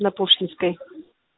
на пушкинской